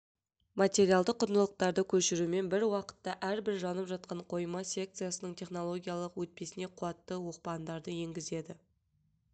материалдық құндылықтарды көшірумен бір уақытта әрбір жанып жатқан қойма секциясының технологиялық өтпесіне қуатты оқпандарды енгізеді